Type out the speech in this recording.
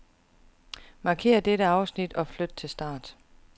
Markér dette afsnit og flyt til start.